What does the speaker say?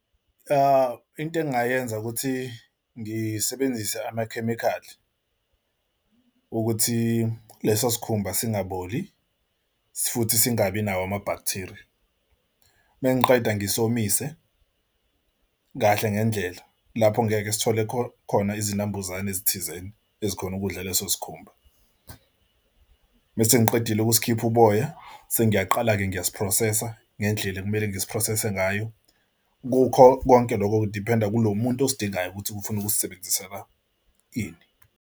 Into engingayenza ukuthi ngisebenzise amakhemikhali ukuthi leso isikhumba singaboli futhi singabi nawo ama-bacteria mengiqeda ngesomiso kahle ngendlela lapho ngeke sithole khona izinambuzane ezithizeni ezikhona ukudla leso sikhumba. Masengiqedile ukusikhipha uboya sengiyaqala-ke ngiyasi-process-a ngendlela ekumele ngisi-process-se ngayo. Kukho konke lokho kudiphenda kulo muntu osidingayo ukuthi ufuna ukuzisebenzisela ini.